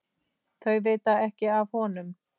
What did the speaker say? Þau vita ekki af honum.